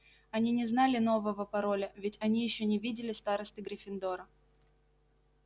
они не знали нового пароля ведь они ещё не видели старосты гриффиндора